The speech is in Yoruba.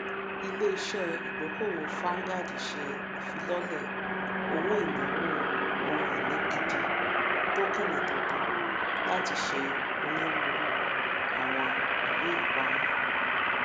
iléiṣẹ ìdókòowó vanguard ṣe ìfílọlẹ owóìnàwó ohunini gidi tokini tuntun láti ṣe onírúurú àwọn ìwéìpamọ